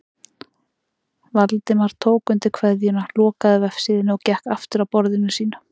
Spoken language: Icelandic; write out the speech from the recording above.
Valdimar tók undir kveðjuna, lokaði vefsíðunni og gekk aftur að borðinu sínu.